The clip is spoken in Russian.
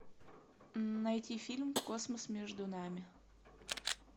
найти фильм космос между нами